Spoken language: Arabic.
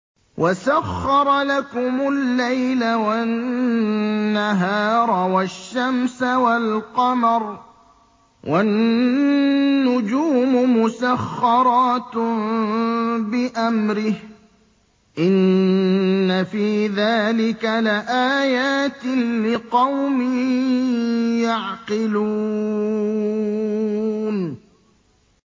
وَسَخَّرَ لَكُمُ اللَّيْلَ وَالنَّهَارَ وَالشَّمْسَ وَالْقَمَرَ ۖ وَالنُّجُومُ مُسَخَّرَاتٌ بِأَمْرِهِ ۗ إِنَّ فِي ذَٰلِكَ لَآيَاتٍ لِّقَوْمٍ يَعْقِلُونَ